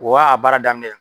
O wa a baara daminɛ.